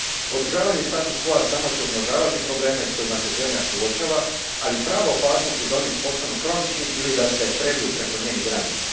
Održavanje status quo samo će umnožavati probleme s kojima se zemlja suočava, ali prava opasnost je da oni postanu kronični ili da se preliju preko njenih granica.